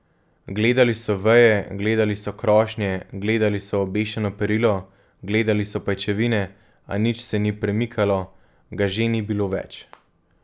Gledali so veje, gledali so krošnje, gledali so obešeno perilo, gledali so pajčevine, a nič se ni premikalo, ga že ni bilo več.